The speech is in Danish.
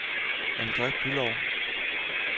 Andre Bülow